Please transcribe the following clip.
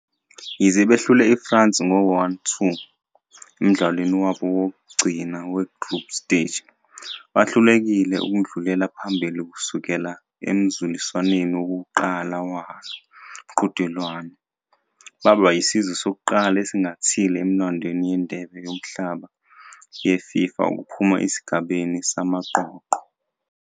Yize behlule iFrance ngo-1-2 emdlalweni wabo wokugcina we-Group Stage, bahlulekile ukudlulela phambili kusukela emzuliswaneni wokuqala walo mqhudelwano, baba yisizwe sokuqala esingathile emlandweni weNdebe Yomhlaba yeFIFA ukuphuma esigabeni samaqoqo.